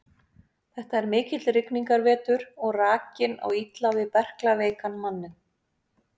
Þetta er mikill rigningarvetur og rakinn á illa við berklaveikan manninn.